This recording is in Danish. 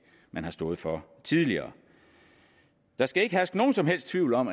man har stået for tidligere der skal ikke herske nogen som helst tvivl om